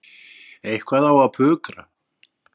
Eitthvað á að pukra.